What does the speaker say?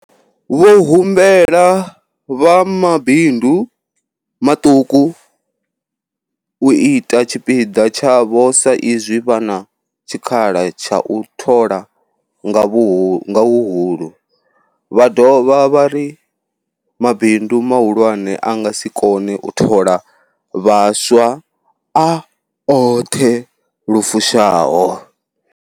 Vho humbela vha mabindu maṱuku u ita tshipiḓa tshavho sa izwi vha na tshikhala tsha u thola nga huhulu, vha dovha vha ri mabindu mahulwane a nga si kone u thola vhaswa a oṱhe lu fushaho.